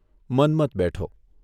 મન્મથ બેઠો.